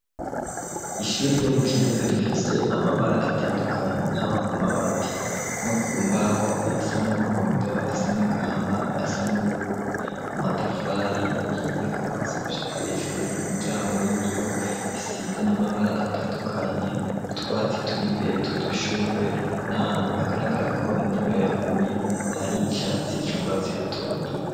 Ishuri ryo mu kinindo rifise amabara atandukanye haba kumabati no kumbaho ayasa n'umuhondo, ayasa n'agahama, ayasa n'ubururu amatafari ahiye kuvasi gushika hejuru imiryango y'ibiyo isize n'amabara atandukanye utwatsi turi imbere twudushugwe n'ahantu hagaragara ko imvura yaguye hari icatsi c'urwatsi rutoto.